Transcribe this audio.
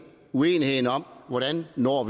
uenigheden om hvordan vi når